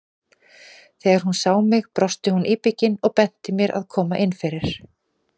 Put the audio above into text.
Þegar hún sá mig brosti hún íbyggin og benti mér að koma inn fyrir.